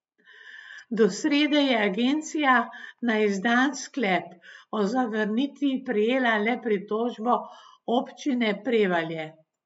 Do srede je agencija na izdan sklep o zavrnitvi prejela le pritožbo Občine Prevalje.